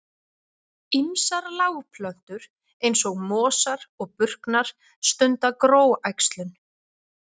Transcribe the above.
Ýmsar lágplöntur eins og mosar og burknar stunda gróæxlun.